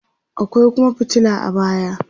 akwai Kuma fitila a baya